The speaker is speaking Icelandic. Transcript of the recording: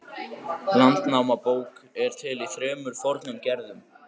Landnámabók er til í þremur fornum gerðum.